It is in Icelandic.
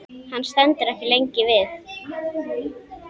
Hann stendur ekki lengi við.